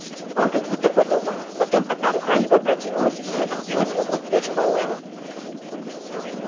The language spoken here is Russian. он как будто подумал потом одна рука его протянулась и обвилась вокруг плеч пауэлла